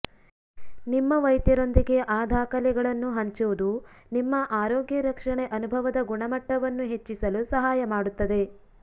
ನಿಮ್ಮ ವೈದ್ಯರೊಂದಿಗೆ ಆ ದಾಖಲೆಗಳನ್ನು ಹಂಚುವುದು ನಿಮ್ಮ ಆರೋಗ್ಯ ರಕ್ಷಣೆ ಅನುಭವದ ಗುಣಮಟ್ಟವನ್ನು ಹೆಚ್ಚಿಸಲು ಸಹಾಯ ಮಾಡುತ್ತದೆ